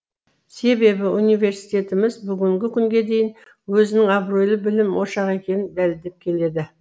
себебі университетіміз бүгінгі күнге дейін өзінің абыройлы білім ошағы екенін дәлелдеп келеді